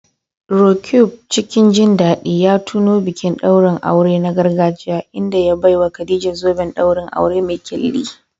Roqeeb cikin jin daɗi ya tuno bikin ɗaurin aure na gargajiya inda ya baiwa Khadija zoben ɗaurin aure mai ƙyalli.